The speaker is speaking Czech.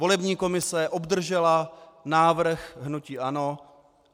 Volební komise obdržela návrh hnutí ANO.